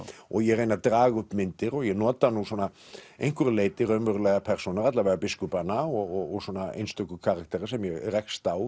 og ég reyni að draga upp myndir og ég nota nú að einhverju leyti raunverulegar persónur alla vega biskupana og einstöku karaktera sem ég rekst á